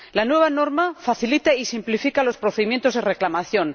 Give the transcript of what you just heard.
La nueva norma facilita y simplifica los procedimientos de reclamación.